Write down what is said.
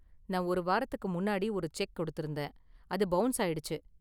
நான் ஒரு வாரத்துக்கு முன்னாடி ஒரு செக் கொடுத்திருந்தேன், அது பவுன்ஸ் ஆயிடுச்சு.